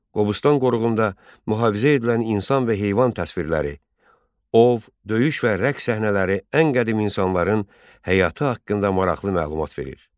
Qobustan qoruğunda mühafizə edilən insan və heyvan təsvirləri, ov, döyüş və rəqs səhnələri ən qədim insanların həyatı haqqında maraqlı məlumat verir.